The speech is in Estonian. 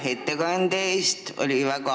Lugupeetud ettekandja, aitäh ettekande eest!